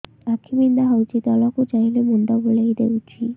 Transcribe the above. ଆଖି ବିନ୍ଧା ହଉଚି ତଳକୁ ଚାହିଁଲେ ମୁଣ୍ଡ ବୁଲେଇ ଦଉଛି